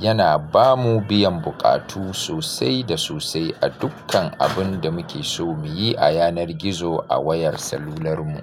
Yana ba mu biyan buƙatu sosai da sosai a dukkan abun da muke so mu yi a yanar gizo a wayar salular mu.